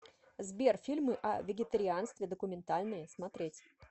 сбер фильмы о вегитарианстве документальные смотреть